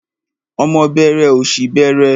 Ọmọ bẹẹrẹ, ọ̀ṣì bẹẹrẹ.